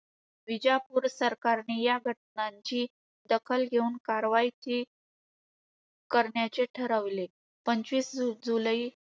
विजापूर सरकारने या घटनांची दखल घेऊन कारवाई की~ करण्याचे ठरवले. पंचवीस जुलै